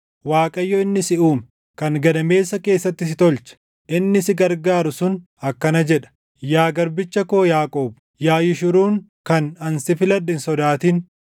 Waaqayyo inni si uume, kan gadameessa keessatti si tolche, inni si gargaaru sun akkana jedha: Yaa garbicha koo Yaaqoob, yaa Yishuruun kan ani si filadhe hin sodaatin.